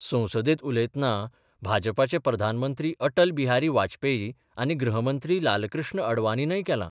संसदेत उलयतना भाजपाचे प्रधानमंत्री अटल बिहारी वाजपेयी आनी गृहमंत्री लालकृष्ण अडवाणीनय केलां.